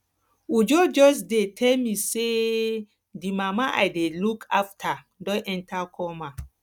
uju just dey tell me say um the mama i dey look after don enter coma